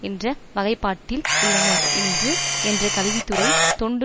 என்ற வகைப்பாட்டில் உள்ளன என்று என்ற கல்வி துறை தொண்டு